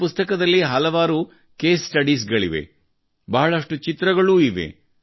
ಈ ಪುಸ್ತಕದಲ್ಲಿ ಹಲವಾರು ಕೇಸ್ ಸ್ಟಡೀಸ್ ಇವೆ ಬಹಳಷ್ಟು ಚಿತ್ರಗಳೂ ಇವೆ